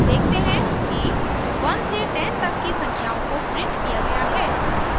हम देखते हैं कि 1 से 10 तक की संख्याओं को printed किया गया है